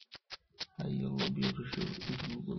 tayiolo biotisho entulugumi